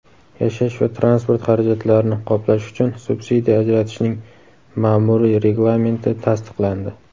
yashash va transport xarajatlarini qoplash uchun subsidiya ajratishning ma’muriy reglamenti tasdiqlandi.